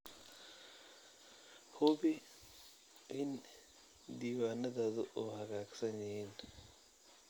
Hubi in diiwaanadaadu u hagaagsan yihiin.